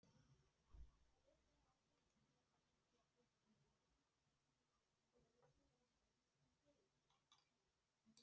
Kristján: Þið mynduð sjá það á skjálftunum?